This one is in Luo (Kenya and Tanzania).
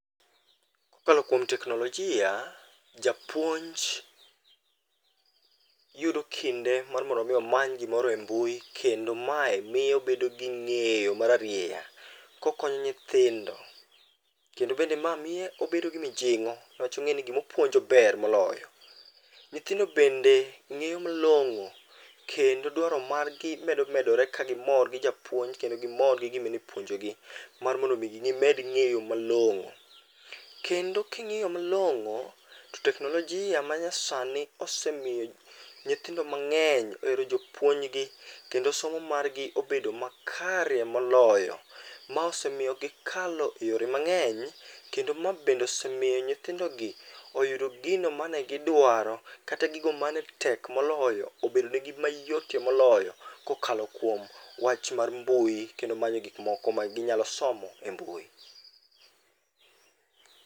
Kokalo kuom teknolojia, japuonj yudo kinde mar mondo mi omany gimoro e mbui kendo mae miyo obedo gi ng'eyo mararieya kokonyo nyithindo. Kendo bende ma miyo obedo gi mijing'o niwach ong'e ni gima opuonjo ber moloyo. Nyithindo bende ng'eyo malong'o kendo dwaro margi medo medore kagimor gi japuonj gi japuonj kendo gimor gi gima ni puonjogi mar mondo gimed ng'eyo malong'o. Kendo king'iyo malong'o, to teknolojia manyasani osemiyo nyihindo mang'eny ohero jopuonjgi kendo somo margi obedo makare moloyo. Ma osemiyo gikalo eyore mang'eny, kendo ma bende osemiyo nyithindogi oyudo gino mane gidwaro kata gigo mane tek moloyo obedo nigi mayotie moloyo kokalo kuom wach mar mbui, kendo manyo gik moko maginyalo somo e mbui.